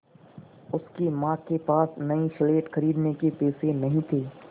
उसकी माँ के पास नई स्लेट खरीदने के पैसे नहीं थे